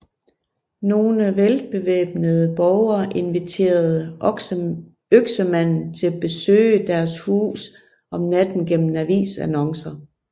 Nogle velbevæbnede borgere inviterede Øksemanden til besøge deres hus om natten gennem avisannoncer